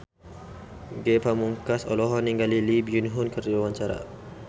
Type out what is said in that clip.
Ge Pamungkas olohok ningali Lee Byung Hun keur diwawancara